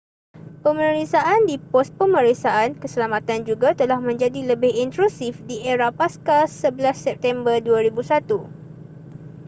pemeriksaan di pos pemeriksaan keselamatan juga telah menjadi lebih intrusif di era pasca 11 september 2001